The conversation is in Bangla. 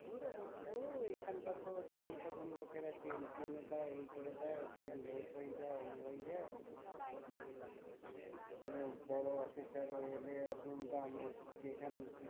তো ওরা বলছিলো ও এখানকার তো যখন তখন লোকেরা chain টেনে দেই এই করে দেয় ট্রেন late হয়ে যাই এই হয়ে যায় কোনো বড় officer ও এলে দুমদাং যেখান খুশি